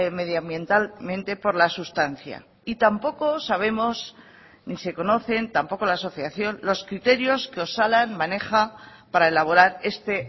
medioambientalmente por la sustancia y tampoco sabemos ni se conocen tampoco la asociación los criterios que osalan maneja para elaborar este